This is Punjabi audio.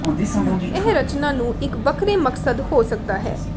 ਇਹ ਰਚਨਾ ਨੂੰ ਇੱਕ ਵੱਖਰੇ ਮਕਸਦ ਹੋ ਸਕਦਾ ਹੈ